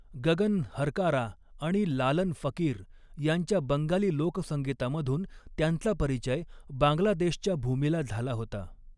गगन हरकारा आणि लालन फ़क़ीर यांच्या बंगाली लोकसंगीतामधून त्यांचा परिचय बांगलादेशच्या भूमीला झाला होता.